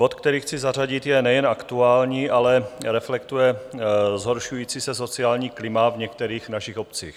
Bod, který chci zařadit, je nejen aktuální, ale reflektuje zhoršující se sociální klima v některých našich obcích.